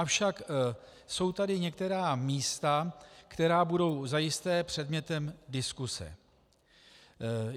Avšak jsou tady některá místa, která budou zajisté předmětem diskuze.